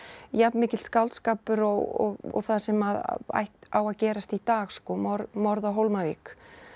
jafn mikill skáldskapur og það sem að á að gerast í dag sko morð morð á Hólmavík